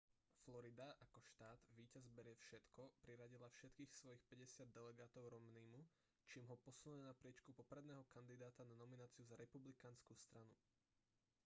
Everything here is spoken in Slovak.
florida ako štát víťaz berie všetko priradila všetkých svojich päťdesiat delegátov romneymu čím ho posunuli na priečku popredného kandidáta na nomináciu za republikánsku stranu